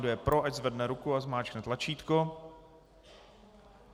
Kdo je pro, ať zvedne ruku a zmáčkne tlačítko.